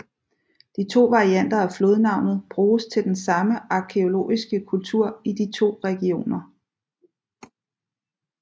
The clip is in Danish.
De 2 varianter af flodnavnet bruges til den samme arkæologiske kultur i de 2 regioner